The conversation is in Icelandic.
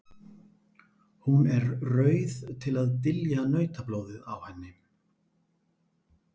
Hún er rauð til að dylja nautablóðið á henni.